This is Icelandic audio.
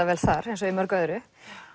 vel þar eins og í mörgu öðru